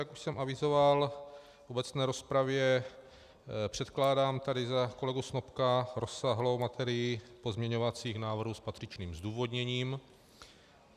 Jak už jsem avizoval v obecné rozpravě, předkládám tady za kolegu Snopka rozsáhlou materii pozměňovacích návrhů s patřičným zdůvodněním.